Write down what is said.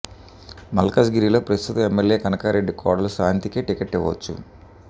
మల్కజ్ గిరిలో ప్రస్థుత ఎమ్మెల్యే కనకారెడ్డి కోడలు శాంతికే టిక్కెట్ ఇవ్వోచ్చు